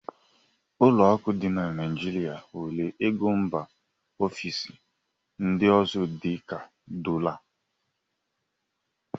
ụlọ akụ dị na Naijirịa nwere ego mba ofesi ndị ọzọ dị ka dọla